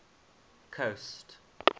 coast